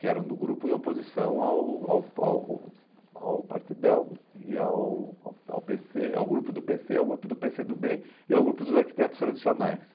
Que era um grupo em oposição ao ao ao ao Partidão, e ao ao ao pê cê ao grupo do pê cê, ao grupo do pê cê do bê e ao grupo dos arquitetos tradicionais.